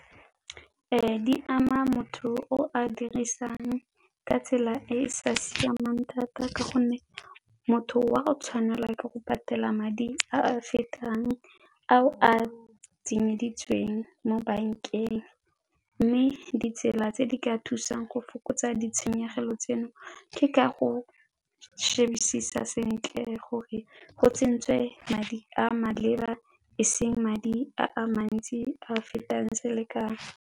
Di ama motho o a dirisang ka tsela e e sa siamang thata ka gonne motho wa go tshwanela ke go patela madi a fetang a o a tsenyeditsweng mo bankeng mme ditsela tse di ka thusang go fokotsa ditshenyegelo tseno ke ka go shebisisa sentle gore go tsentswe madi a maleba e seng madi a mantsi a a fetang selekanyo.